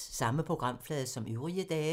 Samme programflade som øvrige dage